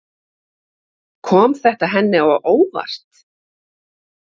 Kom þetta henni á óvart?